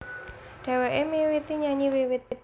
Dhèwèké miwiti nyanyi wiwit